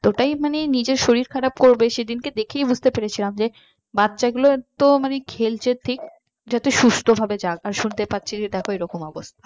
ওটাই মানে নিজের শরীর খারাপ করবে সেদিনকে দেখেই বুঝতে পেরেছিলাম যে বাচ্চা গুলো তো মানে খেলছে ঠিক যাতে সুস্থভাবে যাক তারপর শুনতে পাচ্ছি যেরকম অবস্থা